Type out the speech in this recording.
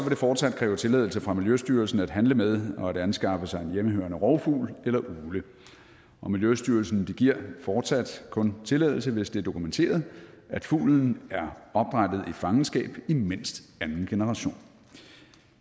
det fortsat kræve tilladelse fra miljøstyrelsen at handle med og anskaffe sig en hjemmehørende rovfugl eller ugle og miljøstyrelsen giver fortsat kun tilladelse hvis det er dokumenteret at fuglen er opdrættet i fangenskab i mindst anden generation